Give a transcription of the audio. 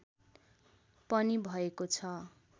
पनि भएको छ